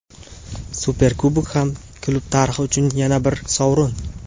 Superkubok ham klub tarixi uchun yana bir sovrin.